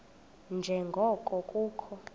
nje ngoko kukho